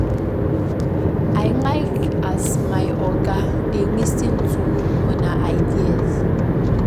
I like as your oga dey lis ten to una ideas.